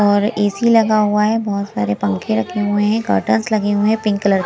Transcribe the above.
और एसी लगा हुआ है बहुत सारे पंखे रखे हुए हैं कर्टंस लगे हुए हैं पिंक कलर --